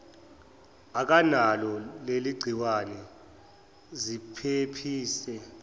akanalo leligciwane ziphephise